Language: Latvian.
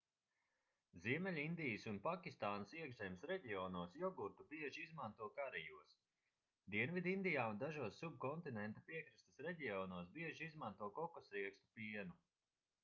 ziemeļindijas un pakistānas iekšzemes reģionos jogurtu bieži izmanto karijos dienvidindijā un dažos subkontinenta piekrastes reģionos bieži izmanto kokosriekstu pienu